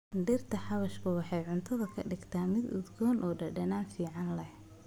Dhirta xawaashku waxay cuntada ka dhigtaa mid udgoon oo dhadhan fiican leh.